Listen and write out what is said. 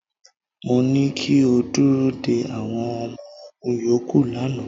Mo ní kí o dúró de àwọn ọmọ ogún yòókù lánàá.